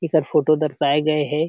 एकर photo दर्शाए गए हे।